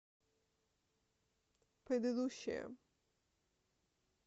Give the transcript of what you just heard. предыдущая